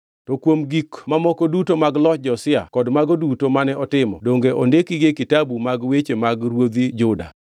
To kuom gik mamoko duto mag loch Josia kod mago duto mane otimo, donge ondikgi e kitabu mag weche mag ruodhi Juda?